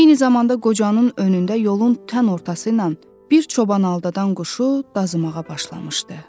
Eyni zamanda qocanın önündə yolun tən ortası ilə bir çoban aldadan quşu dazımağa başlamışdı.